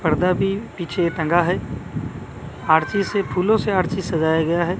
पर्दा भी पीछे टंगा है आरती से फूलों से आरती सजाया गया है।